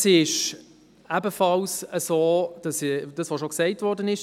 Es ist ebenfalls so, wie bereits gesagt worden ist: